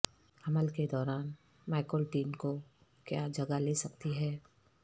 حمل کے دوران مائکولٹین کو کیا جگہ لے سکتی ہے